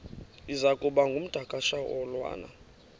iza kuba ngumdakasholwana